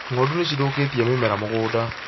Ng'ondu nicithũkĩtie mĩmera mũgũnda